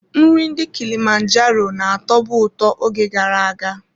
Nri ndị kilimanjaro na-atọbu ụtọ oge gara aga.